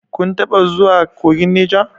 Kun taɓa zuwa kogin Neja?